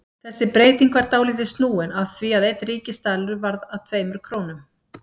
Þessi breyting var dálítið snúin af því að einn ríkisdalur varð að tveimur krónum.